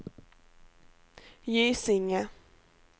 Gysinge